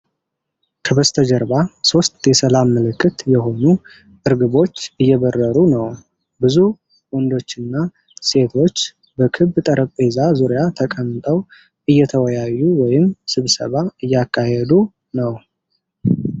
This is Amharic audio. ከበስተጀርባ ሦስት የሰላም ምልክት የሆኑ እርግቦች እየበረሮ ነው። ብዙ ወንዶችና ሴቶች በክብ ጠረጴዛ ዙሪያ ተቀምጠው እየተወያዩ ወይም ስብሰባ እያካሄዱ ነው።